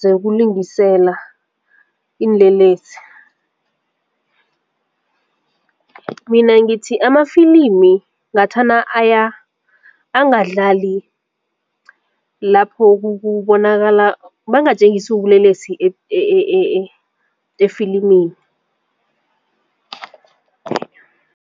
zekulungiselela iinlelesi. Mina ngithi amafilimi ngathana angadlali lapho kubonakala bangatjengisi ubulelesi efilimini.